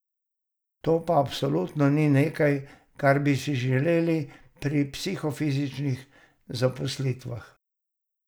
To pa absolutno ni nekaj, kar bi si želeli pri psihofizičnih zaposlitvah.